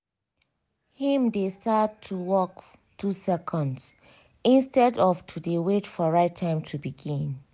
him dey start work 2 seconds! instead of to dey wait for right time to begin